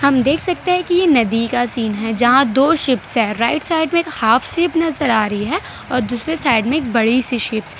देख सकते हैं कि ये नदी का सीन है जहां दो शिप्स राइट साइड में एक हाफ शिप नजर आ रही है और दूसरी साइड में एक बड़ी सी शिप्स ।